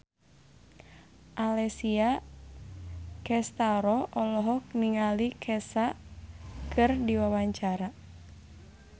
Alessia Cestaro olohok ningali Kesha keur diwawancara